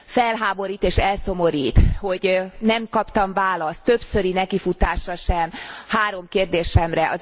Felháborít és elszomorít, hogy nem kaptam választ, többszöri nekifutásra sem három kérdésemre.